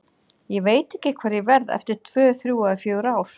Ég veit ekki hvar ég verð eftir tvö, þrjú eða fjögur ár.